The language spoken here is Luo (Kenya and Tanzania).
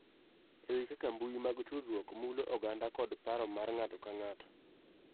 E wi kaka mbui mag tudruok mulo oganda kod paro mar ng�ato ka ng�ato.